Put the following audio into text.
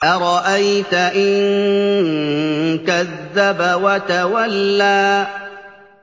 أَرَأَيْتَ إِن كَذَّبَ وَتَوَلَّىٰ